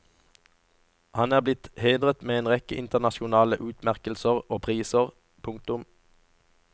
Han er blitt hedret med en rekke internasjonale utmerkelser og priser. punktum